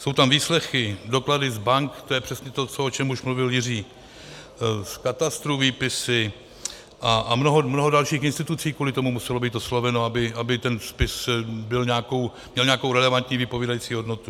Jsou tam výslechy, doklady z bank, to je přesně to, o čem už mluvil Jiří, z katastru výpisy, a mnoho dalších institucí kvůli tomu muselo být osloveno, aby ten spis měl nějakou relevantní vypovídající hodnotu.